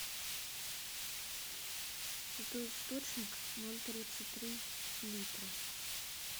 святой источник ноль тридцать три литра